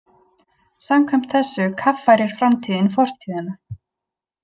Samkvæmt þessu kaffærir framtíðin fortíðina.